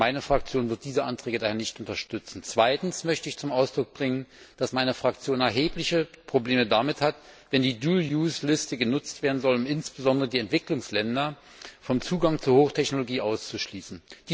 Meine Fraktion wird diese Anträge daher nicht unterstützen. Zweitens möchte ich zum Ausdruck bringen, dass meine Fraktion erhebliche Probleme damit hat, wenn die Dual Use Liste genutzt werden soll, um insbesondere die Entwicklungsländer vom Zugang zur Hochtechnologie auszuschließen.